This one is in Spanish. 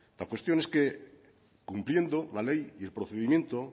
la cuestión es que cumpliendo la ley y el procedimiento